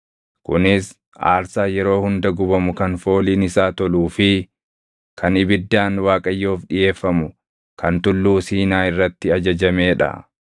Kunis aarsaa yeroo hunda gubamu kan fooliin isaa toluu fi kan ibiddaan Waaqayyoof dhiʼeeffamu kan Tulluu Siinaa irratti ajajamee dha.